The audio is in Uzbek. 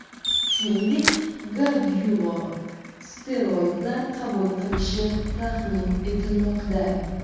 Shuningdek, Gargyulo steroidlar qabul qilishi taxmin etilmoqda.